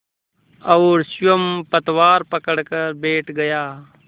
और स्वयं पतवार पकड़कर बैठ गया